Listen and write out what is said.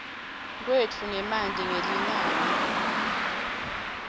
kwetfu ngemanti ngelinani